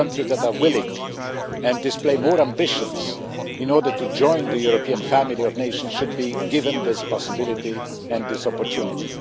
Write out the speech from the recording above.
Those countries that are willing and display more ambitions to join the European family of nations should be given this possibility and this opportunity.